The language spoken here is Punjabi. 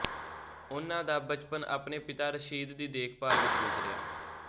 ਉਨ੍ਹਾਂ ਦਾ ਬਚਪਨ ਆਪਣੇ ਪਿਤਾ ਰਸ਼ੀਦ ਦੀ ਦੇਖਭਾਲ ਵਿੱਚ ਗੁਜ਼ਰਿਆ